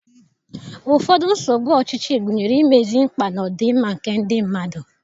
Ụfọdụ nsogbu ọchịchị gụnyere imezi mkpa na ọdịmma nke ndị mmadụ.